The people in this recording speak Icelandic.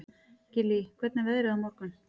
Gillý, hvernig er veðrið á morgun?